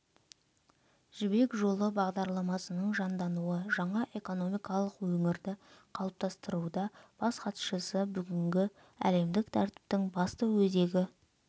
жібек жолы бағдарламасының жандануы жаңа экономикалық өңірді қалыптастыруда бас хатшысы бүгінгі әлемдік тәртіптің басты өзегі